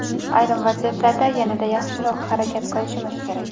Ayrim vaziyatlarda yanada yaxshiroq harakat qilishimiz kerak.